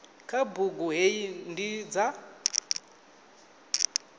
kha bugu hei ndi dza